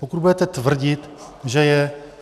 Pokud budete tvrdit, že je...